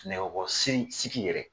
Nɛgɛ kɔrɔ sigi yɛrɛ